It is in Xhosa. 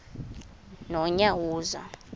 nonyawoza